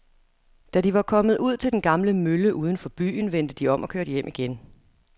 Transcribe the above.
Da de var kommet ud til den gamle mølle uden for byen, vendte de om og kørte hjem igen.